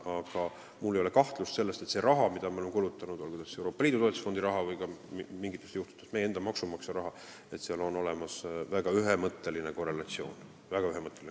Aga mul ei ole kahtlust selles, et kui me oleme kulutanud raha, olgu see Euroopa Liidu toetusfondi raha või mingitel juhtudel meie enda maksumaksja raha, siis seal on olemas väga ühemõtteline korrelatsioon.